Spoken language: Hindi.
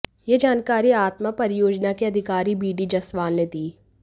यह जानकारी आतमा परियोजना के अधिकारी बीडी जसवाल ने दी